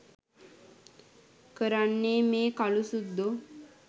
කරන්නේ මේ කළු සුද්දෝ